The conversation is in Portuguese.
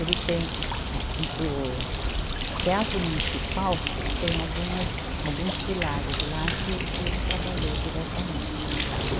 Ele tem um, um, o, o Teatro Municipal tem algumas, alguns pilares lá que que ele trabalhou diretamente.